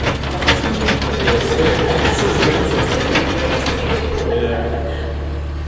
ал қыздарға сөз керек қой сөз де керек іс те керек